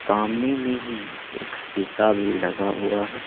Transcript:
सामने में ही एक शीशा भी लगा हुआ है।